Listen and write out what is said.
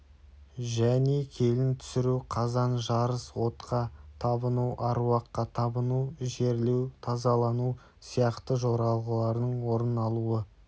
және келін түсіру қазан жарыс отқа табыну аруаққа табыну жерлеу тазалану сияқты жоралғылардың орын алуы